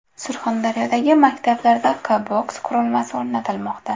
Surxondaryodagi maktablarda Q-Box qurilmasi o‘rnatilmoqda.